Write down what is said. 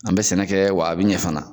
An be sɛnɛ kɛ wa a bi ɲɛ fana